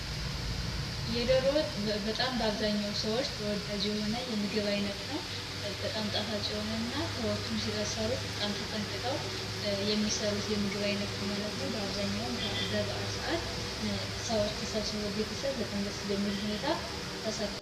የዶሮ ወጥ በጣም በአብዛኛው ሰዎች ተወዳጅ የሆነ የምግብ ዓይነት ነው በጣም ጣፋጭ በጣም ተጠንቀቀው የሚሰሩት የምግብ ዓይነት ነው በአብዛኛውን በበዓል ሰዓት ሰዎች ተሰብስቦ ቤተሰብ በጣም ደስ በሚል ሁኔታ ተሰርቶ